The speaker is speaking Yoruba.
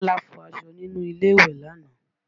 Bọ́lá fọ aṣọ nínú ilé ìwẹ̀ lánàá